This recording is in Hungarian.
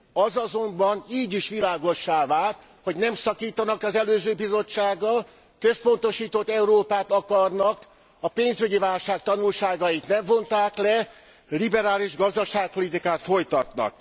Az azonban így is világossá vált, hogy nem szakítanak az előző Bizottsággal, központosított Európát akarnak, a pénzügyi válság tanulságait nem vonták le, liberális gazdaságpolitikát folytatnak.